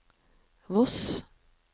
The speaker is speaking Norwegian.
Voss